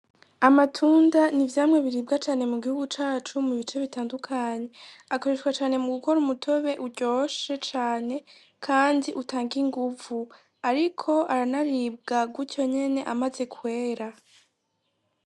Amatunda ni vyamwe biribwa cane mu gihugu cacu mu bice bitandukanye akoreshwa cane mu gukora umutobe uryoshe cane, kandi utange inguvu, ariko aranaribwa gutyo nyene amaze kwera.